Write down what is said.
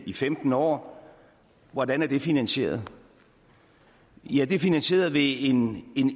i femten år hvordan er det finansieret ja det er finansieret ved en